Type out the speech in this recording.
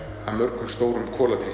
af mörgum stórum